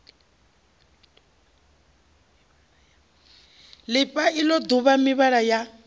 lifha ilo duvha mivhala ya